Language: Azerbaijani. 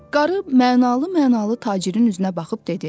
Qarı mənalı-mənalı tacirin üzünə baxıb dedi: